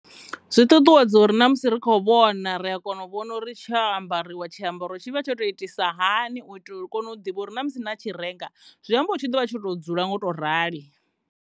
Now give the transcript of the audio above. Zwi ṱuṱuwedza uri na musi ri tshi kho vhona uri tsho ambariwa tshiambaro tshi ambarisiwa hani u itela uri ni kone u ḓivha uri na musi na tshi renga zwi ambori tshi ḓovha tshoto dzula tsho to rali.